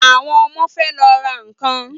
Àwọn ọmọ fẹ lọ ra nkan